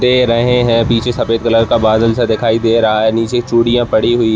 दे रहे है पीछे सफ़ेद कलर का बादल सा दिखाई दे रहा है निचे चूड़ियाँ पड़ी हुई --